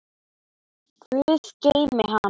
Guð geymi hana.